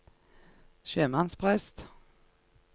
sjømannsprest